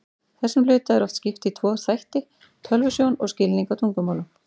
Þessum hluta er oft skipt í tvo þætti, tölvusjón og skilning á tungumálum.